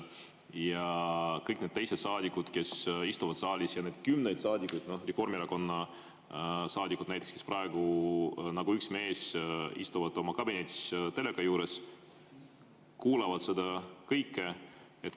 Ja kõik need teised saadikud, kes istuvad saalis, ja need kümned saadikud, Reformierakonna saadikud näiteks, kes praegu nagu üks mees istuvad oma kabinetis teleka juures, kuulavad seda kõike.